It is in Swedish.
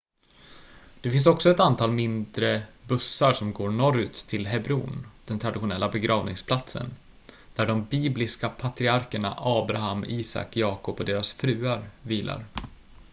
det finns också ett mindre antal bussar som går norrut till hebron den traditionella begravningsplatsen där de bibliska patriarkerna abraham isak jakob och deras fruar vilar